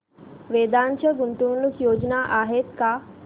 वेदांत च्या गुंतवणूक योजना आहेत का